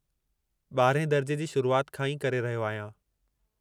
12हें दर्जे जी शुरुआति खां ई करे रहियो आहियां।